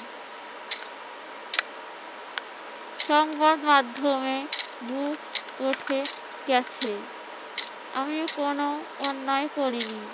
সংবাদ মাধ্যমে উঠে গেছে আমিও কোন অন্যায় করিনি।